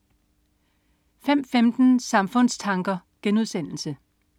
05.15 Samfundstanker*